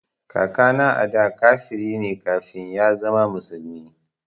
Kakana ada kafiri ne kafin ya zama musulmi